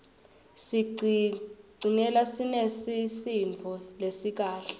sicigcine sinesisindvo lesikahle